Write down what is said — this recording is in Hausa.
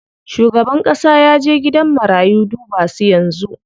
Shugaban ƙasa yaje gidan marayu duba su yanzu.